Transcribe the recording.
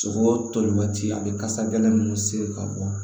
Sogo toli waati a bɛ kasa gɛlɛn minnu sigi ka bɔ